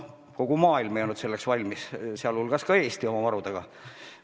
Kogu maailm ei olnud selleks valmis, sealhulgas ka Eesti oma varudega.